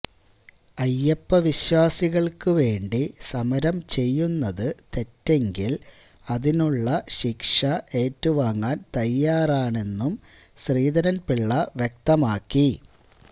അയ്യപ്പ വിശ്വാസികൾക്ക് വേണ്ടി സമരം ചെയ്യുന്നത് തെറ്റെങ്കിൽ അതിനുള്ള ശിക്ഷ ഏറ്റുവാങ്ങാൻ തയ്യാറാണെന്നും ശ്രീധരൻ പിള്ള വ്യക്തമാക്കി